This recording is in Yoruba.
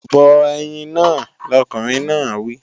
Bọ ẹyin náà, lọkùnrin náà wí!